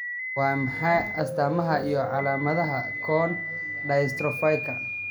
Waa maxay astamaha iyo calaamadaha Cone dystrophyka?